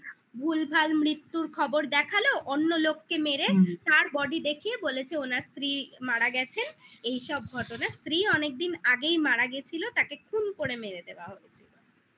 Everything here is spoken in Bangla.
ভুলভাল মৃত্যু খবর দেখালো অন্য লোককে মেরে হুম তার body দেখিয়ে বলেছে ওনার স্ত্রী মারা গেছেন এইসব ঘটনা স্ত্রী অনেকদিন আগেই মারা গিয়েছিলো তাকে খুন করে মেরে দেওয়া হয়েছিল